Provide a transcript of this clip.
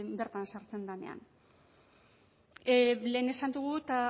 bertan sartzen denean lehen esan dugu eta